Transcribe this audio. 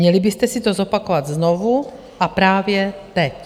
Měli byste si to zopakovat znovu a právě teď.